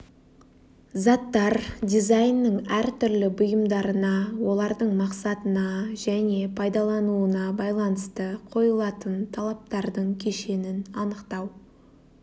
заттар дизайнның әртүрлі бұйымдарына олардың мақсатына және пайдалануына байланысты қойылатын талаптардың кешенін анықтау